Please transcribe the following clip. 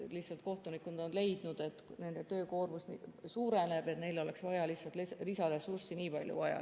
Lihtsalt kohtunikud on leidnud, et nende töökoormus suureneb ja neil oleks lihtsalt lisaressurssi nii palju vaja.